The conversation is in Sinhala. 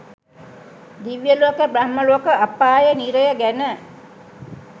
දිව්‍යලෝක බ්‍රහ්මලෝක අපාය නිරය ගැන